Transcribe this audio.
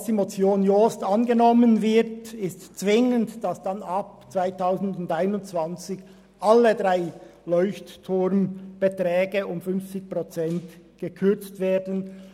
Falls die Motion Jost angenommen würde, müssten zwingend ab 2021 alle drei Leuchtturm-Beträge um 50 Prozent gekürzt werden.